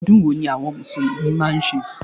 Odún wo ni àwon mùsùlùmí máa n se?